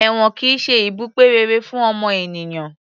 Èwọ̀n kìí ṣe ibùgbé rere fún ọmọ ènìyàn